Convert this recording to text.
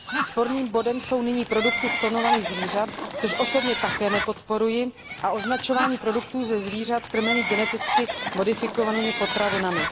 Sporným bodem jsou nyní produkty z klonovaných zvířat, což osobně také nepodporuji, a označování produktů ze zvířat krmených geneticky modifikovanými potravinami.